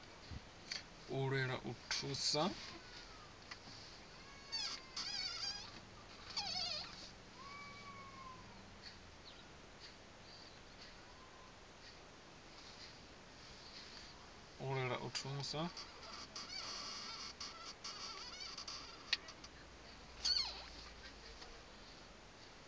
u lwela u thusa avho